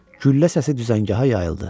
Güllə səsi düzəngaha yayıldı.